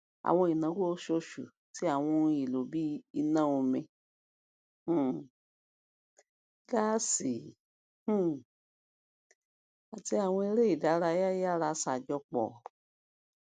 àwọn ináwó oṣooṣù ti àwọn ohun èlò bíi iná omi um gaasi um àti àwọn iṣẹ eré ìdárayá yara ṣàjọpọ